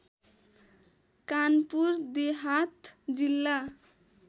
कानपुर देहात जिल्ला